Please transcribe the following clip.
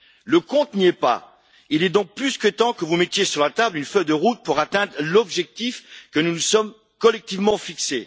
Le compte n'y est pas. Il est donc plus que temps que vous mettiez sur la table une feuille de route pour atteindre l'objectif que nous nous sommes collectivement fixé.